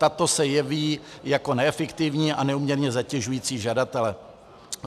Tato se jeví jako neefektivní a neúměrně zatěžující žadatele.